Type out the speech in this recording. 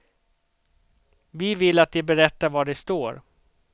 Vi vill att de berättar var de står.